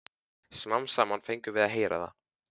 Smám saman fengum við að heyra það.